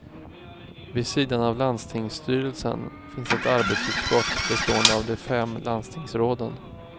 Vid sidan av landstingsstyrelsen finns ett arbetsutskott bestående av de fem landstingsråden.